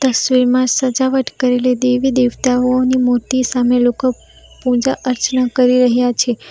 તસવીરમાં સજાવટ કરી લીધી એવી દેવતાઓની મૂર્તિ સામે લોકો પૂજા અર્ચના કરી રહ્યા છે.